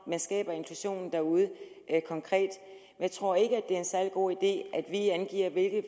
skaber inklusionen derude konkret jeg tror ikke det er en særlig god idé at vi angiver hvilket